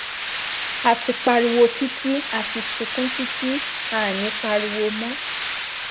a ti pariwo títí a ti sunkún títí àá ní í pariwo mọ